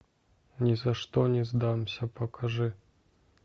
ни за что не сдамся покажи